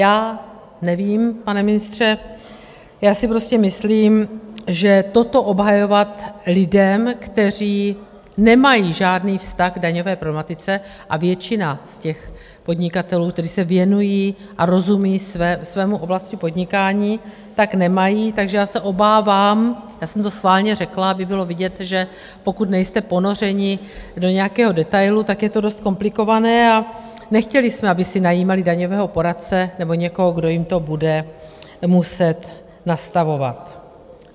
Já nevím, pane ministře, já si prostě myslím, že toto obhajovat lidem, kteří nemají žádný vztah k daňové problematice, a většina z těch podnikatelů, kteří se věnují a rozumí své oblasti podnikání, tak nemají, takže já se obávám, já jsem to schválně řekla, aby bylo vidět, že pokud nejste ponořeni do nějakého detailu, tak je to dost komplikované, a nechtěli jsme, aby si najímali daňového poradce nebo někoho, kdo jim to bude muset nastavovat.